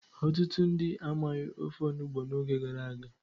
Ọtụtụ ndị amaghị ofe olugbu n'oge gara aga.